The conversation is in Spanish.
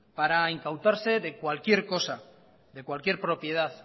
para incautarse de cualquier cosa de cualquier propiedad